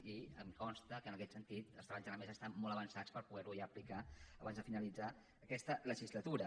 i em consta que en aquest sentit els treballs de la mesa estan molt avançats per poderho ja aplicar abans de finalitzar aquesta legislatura